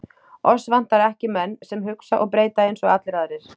Oss vantar ekki menn, sem hugsa og breyta eins og allir aðrir.